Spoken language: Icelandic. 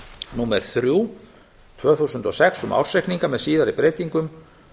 númer þrjú tvö þúsund og sex um ársreikninga með síðari breytingum